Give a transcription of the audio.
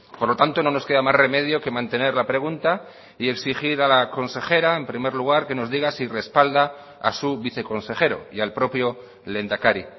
por lo tanto no nos queda más remedio que mantener la pregunta y exigir a la consejera en primer lugar que nos diga si respalda a su viceconsejero y al propio lehendakari